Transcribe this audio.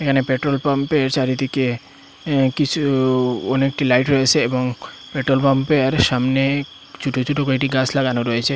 এখানে পেট্রোলপাম্পের চারিদিকে আ্য কিছু ওনেকটি লাইট রয়েছে এবং পেট্রোলপাম্পের সামনে ছুটো ছুটো কয়টি গাস লাগানো রয়েছে।